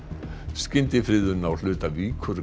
skyndifriðun á hluta